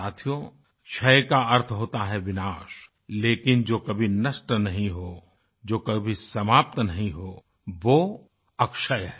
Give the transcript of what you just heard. साथियो क्षय का अर्थ होता है विनाश लेकिन जो कभी नष्ट नहीं हो जो कभी समाप्त नहीं हो वो अक्षय है